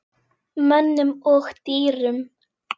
Mönnum og dýrum.